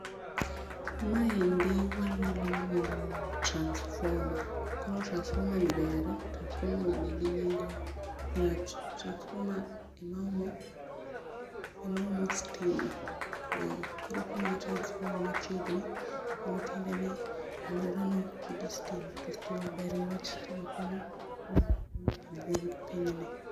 Maendi wanyalo luongo ni transformer koro transformer nigi nengo ni wach transformer ema omo, ema omo stima koro ka transforme ni machiegni to mano tiende ni aluora no ni gi stima to stima ber ni wach stima konyo pinyni.